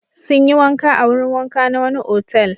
Sun yi wanka a wurin wanka na wani otal.